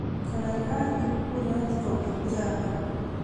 Kaikai iib kuret kobun Java